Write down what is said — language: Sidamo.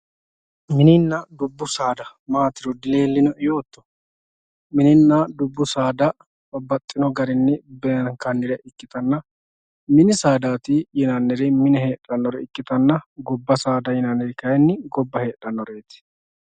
mininna dubbu saada maatiro dileellinoe yoo mininna dubbu saada babbaxxino garinni beenkannire ikkitanna mini saada mine heedhannoreeti gobba saada gobba heedhannoreeti